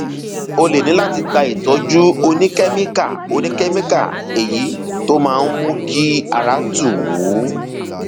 ó lè ní láti gba ìtọjú oníkẹmíkà oníkẹmíkà èyí tó máa mú kí ara tù ú